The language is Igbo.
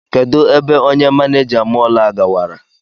Kedụ ebe onye manịja mọl a gawara?